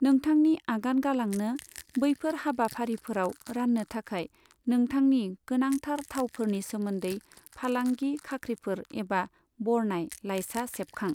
नोंथांनि आगान गालांनो, बैफोर हाबाफारिफोराव राननो थाखाय नोंथांनि गोनांथार थावफोरनि सोमोन्दै फालांगि खाख्रिफोर एबा बरनाय लाइसा सेबखां।